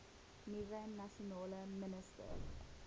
nuwe nasionale minister